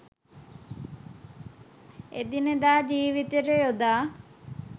එදිනෙදා ජීවිතයට යොදා